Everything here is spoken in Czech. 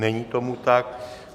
Není tomu tak.